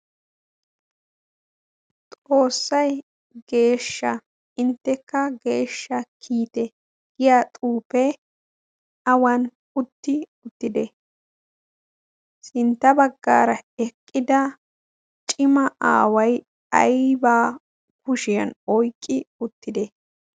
xoossay geeshsha inttekka geeshsha kiite giya xuupee awan utti uttide sintta baggaara eqqida cima aaway aybaa kushiyan oyqqi uttide